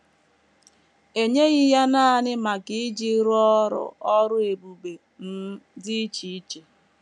E nyeghị ya nanị maka iji rụọ ọrụ ọrụ ebube um dị iche iche.